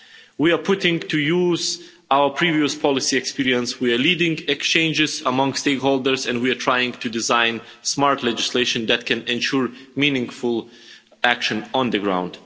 We are putting to use our previous policy experience, we are leading exchanges among stakeholders and we are trying to design smart legislation that can ensure meaningful action on the ground.